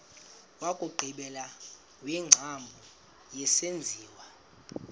wokugqibela wengcambu yesenziwa